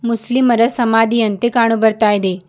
ಮುಸ್ಲಿಂಮರ ಸಮಾಧಿಯಂತೆ ಕಾಣು ಬರ್ತಾ ಇದೆ.